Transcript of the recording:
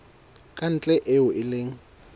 ka ntle eo e leng